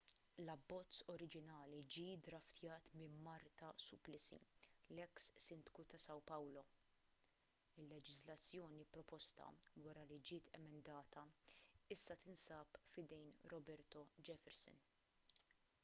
l-abbozz oriġinali ġie ddraftjat minn marta suplicy l-eks sindku ta' são paulo. il-leġiżlazzjoni proposta wara li ġiet emendata issa tinsab f'idejn roberto jefferson